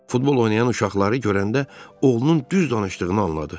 Futbol oynayan uşaqları görəndə, oğlunun düz danışdığını anladı.